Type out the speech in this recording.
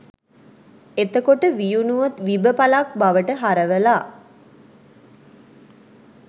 එතකොට වියුණුව විබ පළක් බවට හරවලා